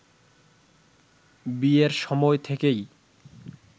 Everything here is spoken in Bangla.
বিয়ের সময় থেকেই